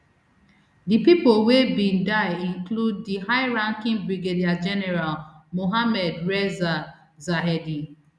di pipo wey bin die include di highranking brigadier general mohammad reza zahedi